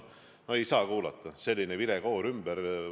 No ei saanud kuulata, selline vilekoor on ümber!